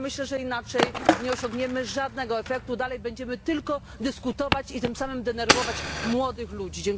Bo myślę, że inaczej nie osiągniemy żadnego efektu, dalej będziemy tylko dyskutować i tym samym denerwować młodych ludzi.